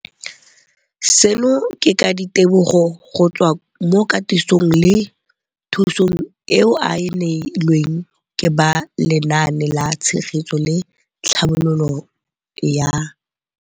Seno ke ka ditebogo go tswa mo katisong le thu song eo a e neilweng ke ba Lenaane la Tshegetso le Tlhabololo ya